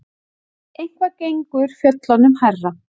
Eitthvað gengur fjöllunum hærra